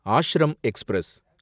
ashram express